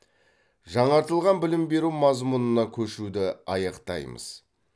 жаңартылған білім беру мазмұнына көшуді аяқтаймыз